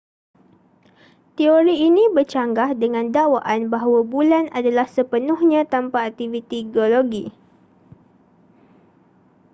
teori ini bercanggah dengan dakwaan bahawa bulan adalah sepenuhnya tanpa aktiviti geologi